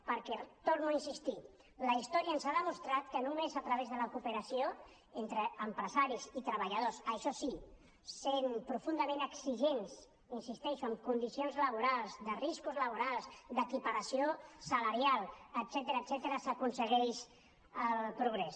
perquè hi torno a insistir la història ens ha demostrat que només a través de la cooperació entre empresaris i treballadors això sí sent profundament exigents hi insisteixo en condicions laborals de riscos laborals d’equiparació salarial etcètera s’aconsegueix el progrés